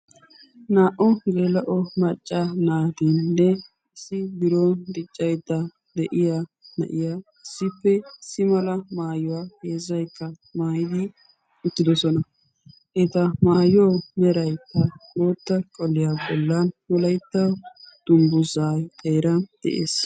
naa''u geela'o macca naatinnne issi biron diccaydda de'iya na'iya issippe simala maayuwaa heezzaykka maayidi uttidosona eta maayuwau merayta ootta qoliyaa bollan nu laytta dungguzaay xeera de7ees